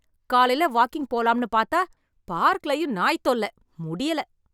காலையில வாக்கிங் போலாம்னு பாத்தா, பார்க்லயும் நாய் தொல்ல, முடியல.